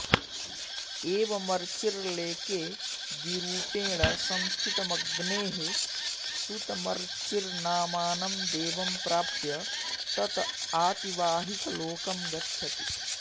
एवमर्चिर्लेके द्विरुपेण संस्थितमग्नेः सुतमर्चिर्नामानं देवं प्राप्य तत आतिवाहिकलोकं गच्छति